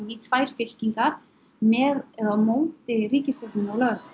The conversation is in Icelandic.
í tvær fylkingar með eða á móti ríkisstjórninni og lögreglu